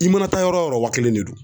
I mana taa yɔrɔ o yɔrɔ wa kelen de don.